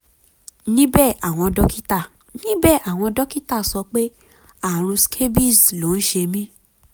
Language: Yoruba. níbẹ̀ àwọn dókítà níbẹ̀ àwọn dókítà sọ pé ààrùn scabies ló ń ṣe mí